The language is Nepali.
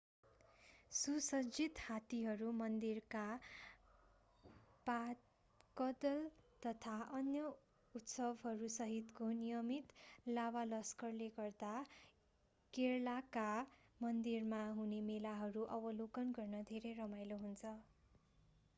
सुसज्जित हात्तीहरू मन्दिरका वादकदल तथा अन्य उत्सवहरूसहितको नियमित लावालस्करले गर्दा केरलाका मन्दिरमा हुने मेलाहरू अवलोकन गर्न धेरै रमाईलो हुन्छ